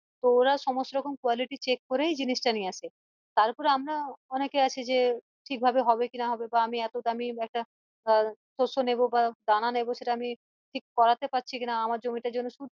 তো ওরা সমস্ত রকম quality check করেই জিনিস টা নিয়ে আসে তারপরে আমরা অনেকে আছি যে ঠিক ভাবে হবে কি না বা আমি এতো দামি একটা আহ শস্য নেবো বা দানা নেবো সেটা আমি ঠিক করতে পারছি কিনা আমার জমিটার জন্য